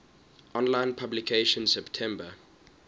online publication september